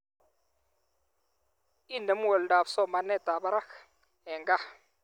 Inemu oldoab somanetab barak eng gaa